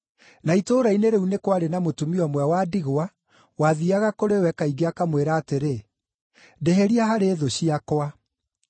Na itũũra-inĩ rĩu nĩ kwarĩ mũtumia ũmwe wa ndigwa wathiiaga kũrĩ we kaingĩ akamwĩra atĩrĩ, ‘Ndĩhĩria harĩ thũ ciakwa.’